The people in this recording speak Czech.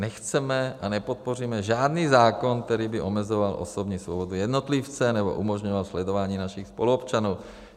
Nechceme a nepodpoříme žádný zákon, který by omezoval osobní svobody jednotlivce nebo umožňoval sledování našich spoluobčanů.